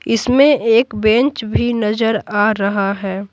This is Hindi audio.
इसमें एक बेंच भी नजर आ रहा है।